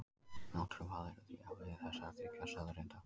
Náttúrlegt val er því afleiðing þessara þriggja staðreynda.